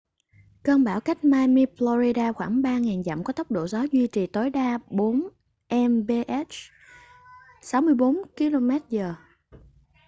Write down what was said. cơn bão cách miami florida khoảng 3.000 dặm có tốc độ gió duy trì tối đa 40 mph 64 kph